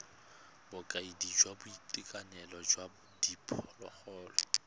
bokaedi jwa boitekanelo jwa diphologolo